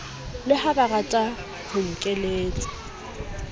le ha barata ho nkeletsa